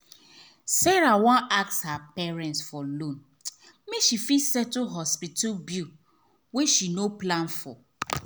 sarah wan ask her parents for loan make she fit settle hospital bill wey she no plan for.